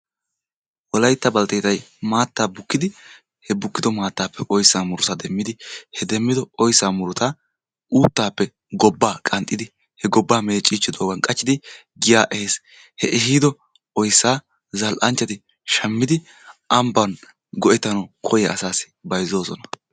wolaytta balteettay maataa bukkidi he bukkido maataappe oysaa murutaa demmidi he demmido oysaa murutaa uuttaappe gobaaa qanxxidi he gobaa meecirgidoogan qachidi giyaa ehees, he ehiido oysaa zal'anchchati shamidi amban go'etanawu koyiya asaassi bayzzoosona.